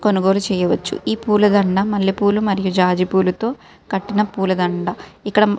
కొనుగోలు చెయ్య వచ్చు ఈ పూల దందా మల్లె పూలు మరియు జాజి పూలతో కట్టిన దందా. ఇక్కడ --